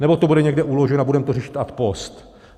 Nebo to bude někde uloženo a budeme to řešit ad post?